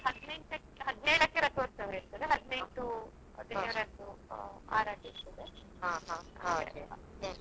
ಹದಿನೇಳಕ್ಕೇ ರಥೋತ್ಸವ ಇರ್ತದೆ ಹದ್ನೆಂಟು ದೇವರದ್ದು ಆರಾಧ್ಯ ಇರ್ತದೆ ಹಾಗೆಲ್ಲ.